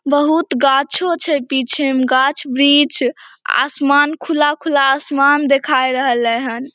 बहुत गाछो छै पीछे में गाछ वृक्ष आसमान खुला-खुला आसमान देखाय रहले हन।